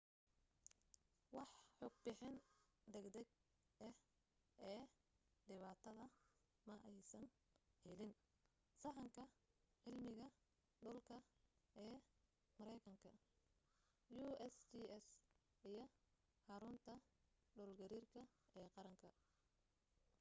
wax xog bixin degdeg ah ee dhibaata ma aysan helin sahanka cilmiga dhulka ee mareykanka usgs iyo xarunta xogta dhul gariir ee qaranka